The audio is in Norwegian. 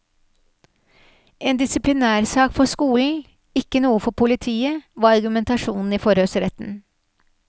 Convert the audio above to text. En disiplinærsak for skolen, ikke noe for politiet, var argumentasjonen i forhørsretten.